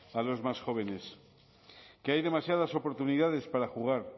a los más jóvenes que hay demasiadas oportunidades para jugar